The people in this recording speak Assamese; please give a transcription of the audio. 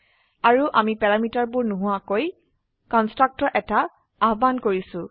আৰু আমি প্যাৰামিটাৰবোৰ নোহোৱাকৈ কন্সট্ৰাকটৰ এটা আহ্বান কৰিছো